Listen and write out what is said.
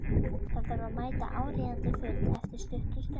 Þarf að mæta á áríðandi fund eftir stutta stund.